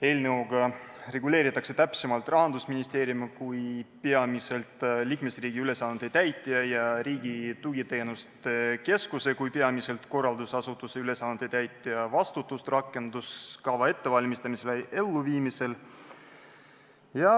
Eelnõuga reguleeritakse täpsemalt Rahandusministeeriumi kui peamiselt liikmesriigi ülesande täitja ja Riigi Tugiteenuste Keskuse kui peamiselt korraldusasutuse ülesannete täitja vastutust rakenduskava ettevalmistamisel ja elluviimisel.